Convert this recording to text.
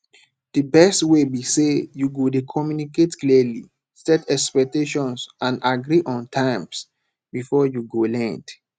di best way be say you go dey communicate clearly set expectations and agree on terms before you go lend